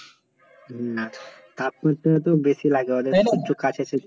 না তাপ করতে হয়তো বেশি লাগে ওদের সূর্য কাছে